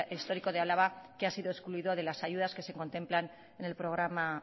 histórico de álava que ha sido excluido de las ayudas que se contemplan en el programa